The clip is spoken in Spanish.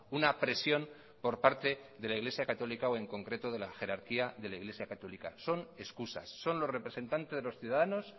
una presión por parte de la iglesia católica o en concreto de la jerarquía de la iglesia católica son excusas son los representantes de los ciudadanos